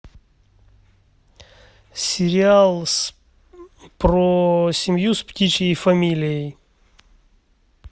сериал про семью с птичьей фамилией